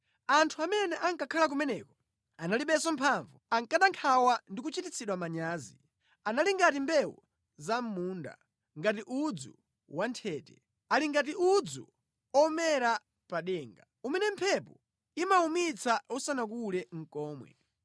Anthu amene ankakhala kumeneko analibenso mphamvu, ankada nkhawa ndi kuchititsidwa manyazi. Anali ngati mbewu za mʼmunda, ngati udzu wanthete, ali ngati udzu omera pa denga, umene mphepo imawumitsa usanakule nʼkomwe.